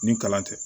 Ni kalan tɛ